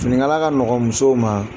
Finikala ka nɔgɔn musow ma